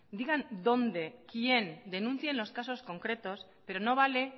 digan dónde quién denuncien los casos concretos pero no vale